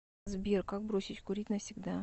сбер как бросить курить навсегда